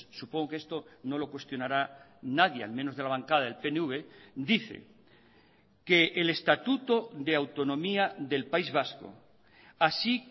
supongo que esto no lo cuestionará nadie al menos de la bancada del pnv dice que el estatuto de autonomía del país vasco así